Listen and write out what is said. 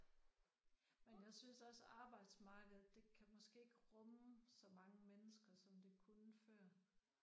Men jeg synes også arbejdsmarkedet det kan måske ikke rumme så mange mennesker som det kunne før